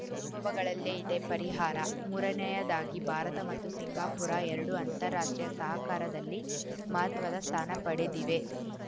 ಅನುಭವಗಳಲ್ಲೇ ಇದೆ ಪರಿಹಾರ ಮೂರನೆಯದಾಗಿ ಭಾರತ ಮತ್ತು ಸಿಂಗಾಪುರ ಎರಡೂ ಅಂತಾರಾಷ್ಟ್ರೀಯ ಸಹಕಾರದಲ್ಲಿ ಮಹತ್ವದ ಸ್ಥಾನ ಪಡೆದಿವೆ